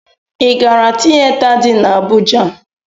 Ị gara tiyeta dị n'Abụja?